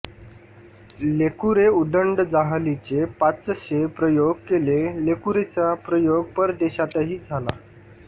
लेकुरे उदंड जाहलीचे पाचशे प्रयोग केले लेकुरे चा प्रयोग परदेशातही झाला